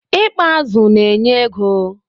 I kpa azụ na-enye ego.